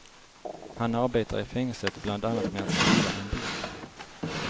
Han arbetar i fängelset bland annat med att skriva en bok.